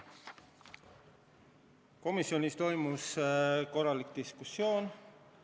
Komisjonis leidis aset korralik diskussioon.